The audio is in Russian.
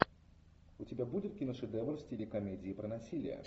у тебя будет киношедевр в стиле комедии про насилие